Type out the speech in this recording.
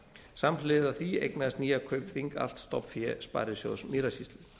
samhliða því eignaðist nýja kaupþing allt stofnfé sparisjóðs mýrasýslu